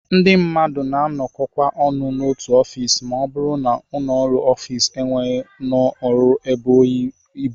Ndị mmadụ na-anọkọkwa ọnụ n'otu ofiisi ma ọ bụrụ na ọnụụlọ ofiisi e nwere n'ụlọọrụ ebughị ibu